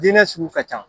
Diinɛ sugu ka ca